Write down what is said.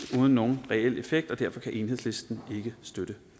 uden nogen reel effekt og derfor kan enhedslisten ikke støtte